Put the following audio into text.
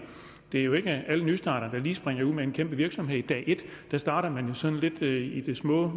det er jo ikke alle nystartere der lige springer ud med en kæmpe virksomhed dag et der starter man jo sådan lidt i det små